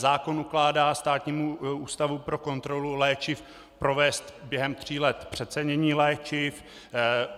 Zákon ukládá Státnímu ústavu pro kontrolu léčiv provést během tří let přecenění léčiv.